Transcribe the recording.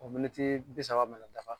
O miniti bi saba mana dafa